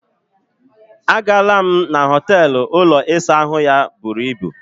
A gaala m na họteelụ ụlọ ịsa ahụ ya buru ibù.